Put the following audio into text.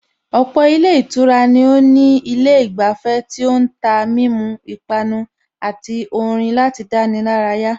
Ọ̀pọ̀ ilé ìtura ni ó ní ilé ìgbafẹ́ tí ó ń tà mímu, ipápánu àti orin láti dáni lárayà